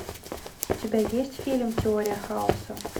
у тебя есть фильм теория хаоса